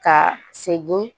Ka segin